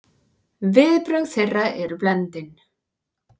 Viðbrögð þeirra eru blendin.